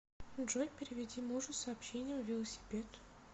джой переведи мужу с сообщением велосипед